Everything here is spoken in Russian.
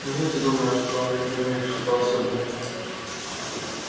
неужели ты думаешь что он видит во мне что-то особенное